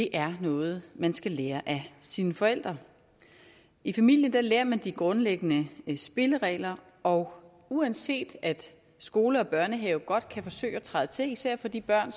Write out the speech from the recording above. er noget man skal lære af sine forældre i familien lærer man de grundlæggende spilleregler og uanset at skole og børnehave godt kan forsøge at træde til især for de børn